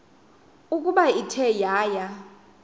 ukuba ithe yaya